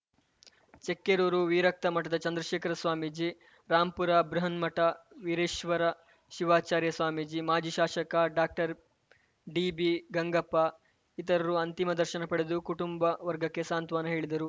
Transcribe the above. ಚಿಕ್ಕೆರೂರು ವಿರಕ್ತ ಮಠದ ಚಂದ್ರಶೇಖರ ಸ್ವಾಮೀಜಿ ರಾಂಪುರ ಬೃಹನ್ಮಠ ವಿಶ್ವೇಶ್ವರ ಶಿವಾಚಾರ್ಯ ಸ್ವಾಮೀಜಿ ಮಾಜಿ ಶಾಸಕ ಡಾಕ್ಟರ್ ಡಿಬಿಗಂಗಪ್ಪ ಇತರರು ಅಂತಿಮ ದರ್ಶನ ಪಡೆದು ಕುಟುಂಬ ವರ್ಗಕ್ಕೆ ಸಾಂತ್ವನ ಹೇಳಿದರು